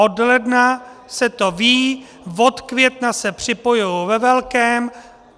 Od ledna se to ví, od května se připojují ve velkém.